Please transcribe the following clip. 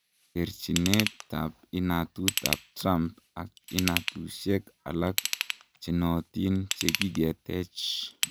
Terjinet ab inatut ab Trump ak inatusiek alak chenootin chekigetech.